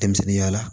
Denmisɛnninya la